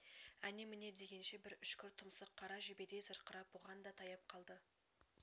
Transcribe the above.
әне-міне дегенше бір үшкір тұмсық қара жебедей зырқырап бұған да таяп қалды